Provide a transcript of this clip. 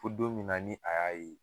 Fo don min na ni a y'a ye